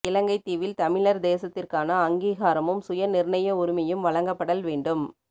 இலங்கைத் தீவில் தமிழர் தேசத்திற்கான அங்கீகாரமும் சுய நிர்ணய உரிமையும் வழங்கப்படல் வேண்டும்